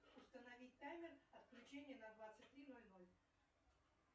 установить таймер отключения на двадцать три ноль ноль